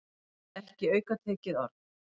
Ekki aukatekið orð.